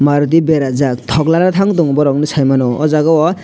already berajak tog nana tang tongo borok nw saimano ahh jaaga o.